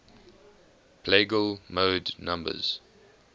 plagal mode numbers